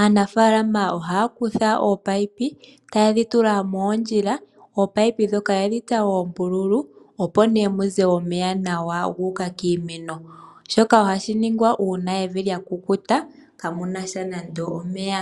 aanafalama ohaya kutha ominino, taye dhi tula moondjila, ominino yedhitsa oombululu opo nawa muze omeya gu uka kiimeno. Shoka ohashi shingwa uuna evi lya kukuta, kaamunasha nande omeya.